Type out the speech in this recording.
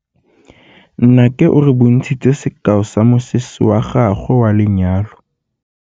Nnake o re bontshitse sekaô sa mosese wa gagwe wa lenyalo.